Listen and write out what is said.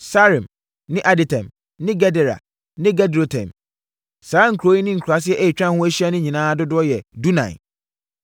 Saaraim ne Aditaim ne Gedera ne Gederotaim. Saa nkuro yi ne nkuraaseɛ a atwa ho ahyia nyinaa dodoɔ yɛ dunan.